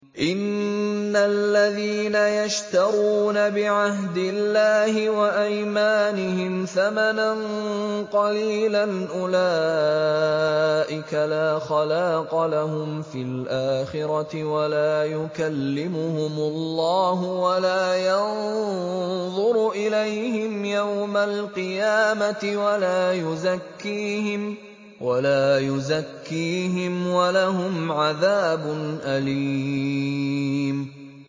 إِنَّ الَّذِينَ يَشْتَرُونَ بِعَهْدِ اللَّهِ وَأَيْمَانِهِمْ ثَمَنًا قَلِيلًا أُولَٰئِكَ لَا خَلَاقَ لَهُمْ فِي الْآخِرَةِ وَلَا يُكَلِّمُهُمُ اللَّهُ وَلَا يَنظُرُ إِلَيْهِمْ يَوْمَ الْقِيَامَةِ وَلَا يُزَكِّيهِمْ وَلَهُمْ عَذَابٌ أَلِيمٌ